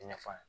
I ɲɛ f'a ye